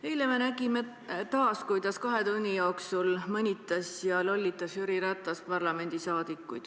Eile me nägime taas, kuidas Jüri Ratas kahe tunni jooksul mõnitas ja lollitas parlamendiliikmeid.